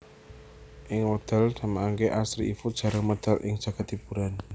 Ing wekdal samangke Astri Ivo jarang medal ing jagad hiburan